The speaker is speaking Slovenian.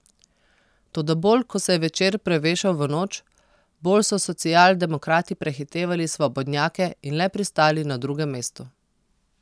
Toda bolj ko se je večer prevešal v noč, bolj so socialdemokrati prehitevali svobodnjake in le pristali na drugem mestu.